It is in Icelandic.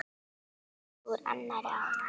Og úr annarri átt.